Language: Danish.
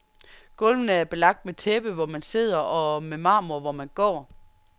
Gulvene er belagt med tæppe, hvor man sidder og med marmor, hvor man går.